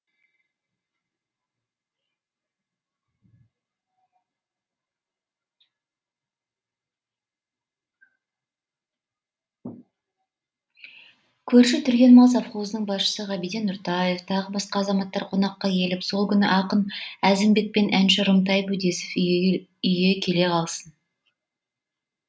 көрші түрген мал совхозының басшысы ғабиден нұртаев тағы басқа азаматтар қонаққа келіп сол күні ақын әзімбек пен әнші рымтай бөдесов үйге келе қалсын